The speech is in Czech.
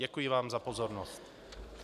Děkuji vám za pozornost.